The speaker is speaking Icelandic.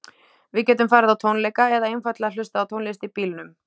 Við getum farið á tónleika eða einfaldlega hlustað á tónlist í bílnum.